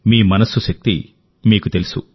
మీ మనస్సు శక్తి మీకు తెలుసు